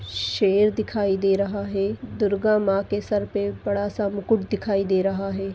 शेर दिखाई दे रहा है दुर्गा माँ के सर पर बड़ा सा मुकुट दिखाई दे रहा है।